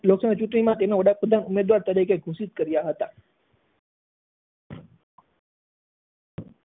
લોકસભા ચૂંટણી માં તેને વડાપ્રધાન ઉમેદવાર તરીકે ઘોષિત કર્યા હતા.